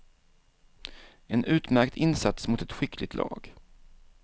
En utmärkt insats mot ett skickligt lag.